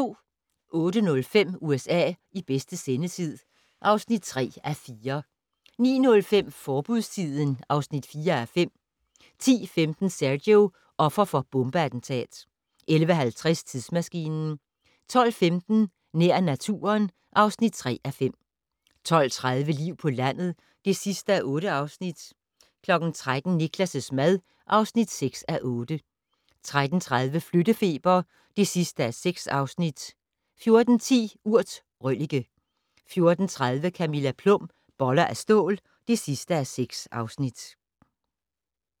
08:05: USA i bedste sendetid (3:4) 09:05: Forbudstiden (4:5) 10:15: Sergio - offer for bombeattentat 11:50: Tidsmaskinen 12:15: Nær naturen (3:5) 12:30: Liv på landet (8:8) 13:00: Niklas' mad (6:8) 13:30: Flyttefeber (6:6) 14:10: Urt: røllike 14:30: Camilla Plum - Boller af stål (6:6)